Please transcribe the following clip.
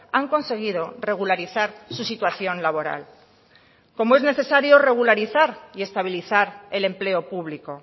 han conseguido regularizar su situación laboral como es necesario regularizar y estabilizar el empleo público